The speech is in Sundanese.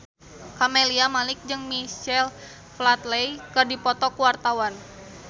Camelia Malik jeung Michael Flatley keur dipoto ku wartawan